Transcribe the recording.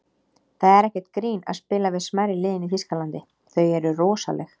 Það er ekkert grín að spila við smærri liðin í Þýskalandi, þau eru rosaleg.